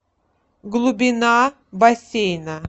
глубина бассейна